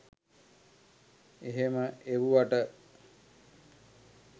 මෙහම එව්වට.